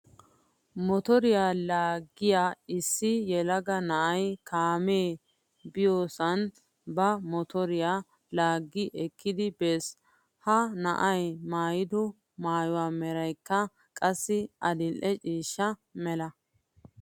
Motoriyaa laaggiyaa issi yelaga na'ay kaamee baynnasan ba motoriyaa laaggi ekkidi bes. He na'ay maayido maayuwaa meraykka qassi adil"e ciishsha mala.